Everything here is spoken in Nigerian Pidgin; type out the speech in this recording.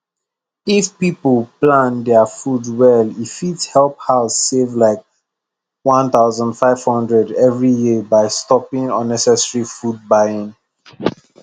if people plan their food well e fit help house save like 1500 every year by stopping unnecessary food buying